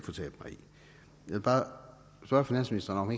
vil bare spørge finansministeren om